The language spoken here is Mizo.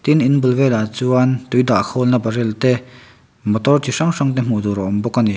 an in bul velah chuan tui dah khawl na barrel te motor chi hrang hrang te hmuh tur a awm bawk ani.